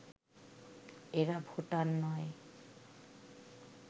এরা ভোটার নয়